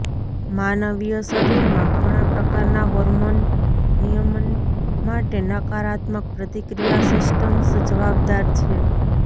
માનવીય શરીરમાં ઘણાં પ્રકારનાં હોર્મોન નિયમન માટે નકારાત્મક પ્રતિક્રિયા સિસ્ટમ્સ જવાબદાર છે